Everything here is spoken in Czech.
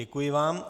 Děkuji vám.